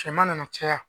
Cɛman nana caya